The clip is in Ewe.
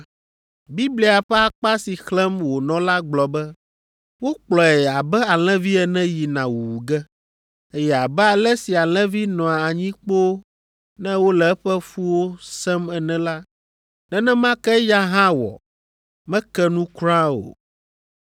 Biblia ƒe akpa si xlẽm wònɔ la gblɔ be, “Wokplɔe abe alẽvi ene yina wuwu ge, eye abe ale si alẽvi nɔa anyi kpoo ne wole eƒe fũwo sẽm ene la, nenema ke eya hã wɔ, meke nu kura o.